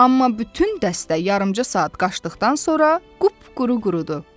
Amma bütün dəstə yarımca saat qaçdıqdan sonra qupquru qurudu.